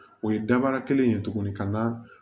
O ye dabara kelen ye tuguni ka na